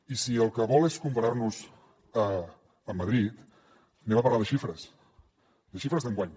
i si el que vol és comparar nos amb madrid parlem de xifres de xifres d’enguany